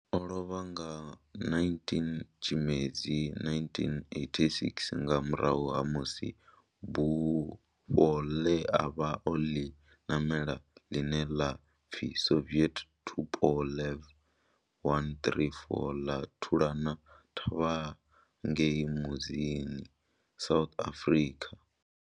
O lovha nga 19 Tshimedzi 1986 nga murahu ha musi bufho ḽe a vha o ḽi namela, ḽine ḽa pfi Soviet Tupolev 134 ḽa thulana thavha ngei Mbuzini, South Africa.